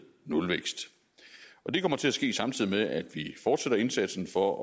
nulvækst og det kommer til at ske samtidig med at vi fortsætter indsatsen for